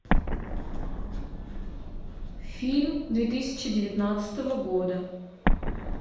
фильм две тысячи девятнадцатого года